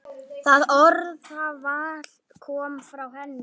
Það orðaval kom frá henni.